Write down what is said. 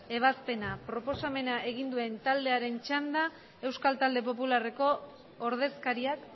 ebazpena proposamena egin duen taldearen txanda euskal talde popularreko ordezkariak